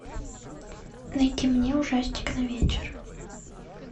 найди мне ужастик на вечер